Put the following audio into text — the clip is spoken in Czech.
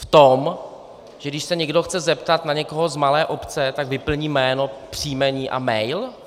V tom, že když se někdo chce zeptat na někoho z malé obce, tak vyplní jméno, příjmení a mail?